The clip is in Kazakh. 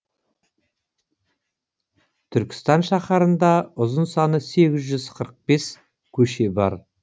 түркістан шаһарында ұзын саны сегіз жүз қырық бес көше бар